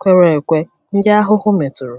kwere ekwe ndị ahụhụ metụrụ.